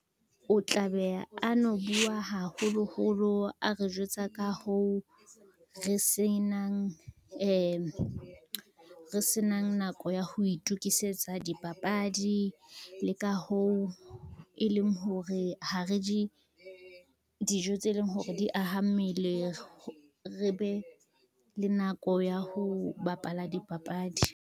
O tla be a no bua haholoholo a re jwetsa ka hoo, re senang nako ya ho itukisetsa dipapadi, le ka hoo, e leng hore ha re je dijo tse leng hore di aha mmele re be le nako ya ho bapala dipapadi.